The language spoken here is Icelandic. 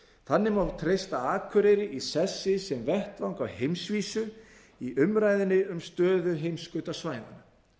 þannig má treysta akureyri í sessi sem vettvang á heimsvísu í umræðunni um stöðu heimskautasvæðanna